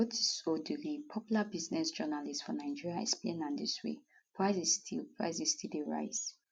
rotus odiri popular business journalist for nigeria explain am dis way prices still prices still dey rise